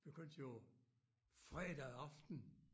Begyndte jo fredag aften